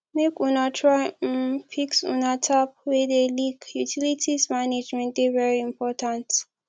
make una try um fix una tap wey dey leak utilities management dey very important